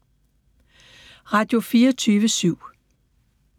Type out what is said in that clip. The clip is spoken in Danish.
Radio24syv